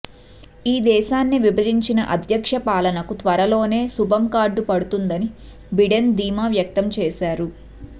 ఈ దేశాన్ని విభజించిన అధ్యక్ష పాలనకు త్వరలోనే శుభంకార్డు పడుతుందని బిడెన్ ధీమా వ్యక్తం చేశారు